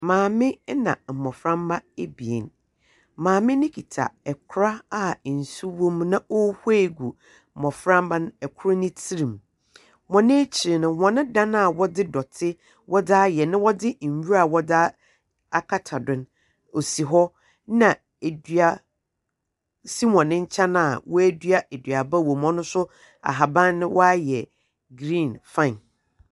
Maame ɛna mmɔframma ebien, maame no kita ɛkora a nsu wɔ mu na ɔhwie gu mmoframma no ɛkoro ne tirim. Wɔn ekyiri no hɔn dan a wɔde dote wodaayɛ na wɔde nwura wɔde akata do no ɔsi hɔ na edua si hɔn kyɛn a wɛdua ɛduaba wɔ mu ɔno nso ahaban no wayɛ green fine.